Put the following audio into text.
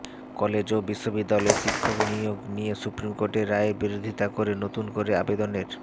college ও বিশ্ববিদ্যালয়ে শিক্ষক নিয়োগ নিয়ে সুপ্রিম কোর্টের রায়ের বিরোধিতা করে নতুন করে আবেদনের